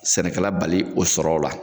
Sɛnɛkɛla bali o sɔrɔw la